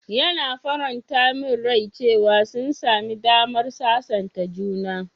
Yana faranta min rai cewa sun sami damar sasanta juna.